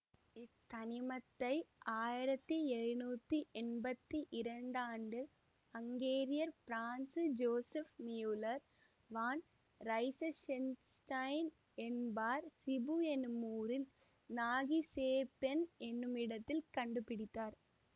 இத்தனிமத்தை ஆயிரத்தி எழுநூற்றி எம்பத்தி இரண்டு ஆண்டில் அங்கேரியர் பிரான்சுஜோசெப் மியுல்லர் வான் ரைசஷென்ஸ்டைன் என்பார் சிபு என்னும் ஊரில் நாகிசேபென் என்னும் இடத்தில் கண்டுபிடித்தார்